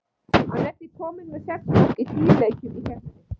Hann er því kominn með sex mörk í níu leikjum í keppninni.